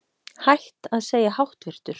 Hætt að segja háttvirtur